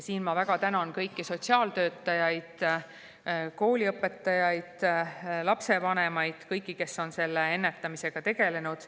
Siin ma väga tänan kõiki sotsiaaltöötajaid, kooliõpetajaid, lapsevanemaid ja kõiki, kes on ennetamisega tegelenud.